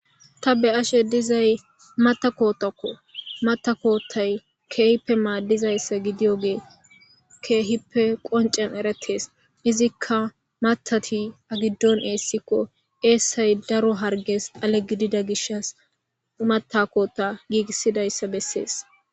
ta be'ashe dizay matakootakko matakootay keehippe maaddizayssa gidiyogee keehippe qoncen eretees izikka matati agiddon eessikko eessay daro harges xale gidida gishas matakota giigissidayssa bessees